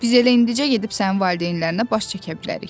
Biz elə indicə gedib sənin valideynlərinə baş çəkə bilərik.